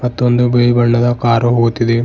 ಮತ್ತು ಒಂದು ಬಿಳಿ ಬಣ್ಣದ ಕಾರು ಹೋಗುತ್ತಿದೆ.